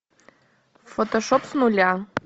фотошоп с нуля